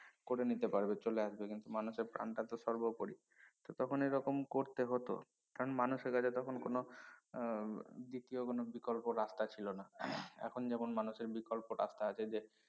করে নিতে পারবে চলে আসবে কিন্তু মানুষের প্রানটাতো সর্বপরি তো তখন এ রকম করতে হত কারন মানুষের কাছে তখন কোনো আহ দ্বিতীয় কোনো বিকল্প রাস্তা ছিল না এখন যেমন মানুষের বিকল্প রাস্তা আছে যে